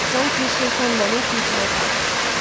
Sanki şeytan məni tilsimə salıb.